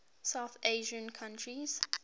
south asian countries